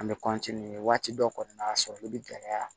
An bɛ waati dɔ kɔni na a sɔrɔli bɛ gɛlɛya